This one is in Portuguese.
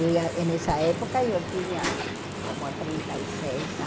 Eu já e nessa época eu tinha como trinta e seis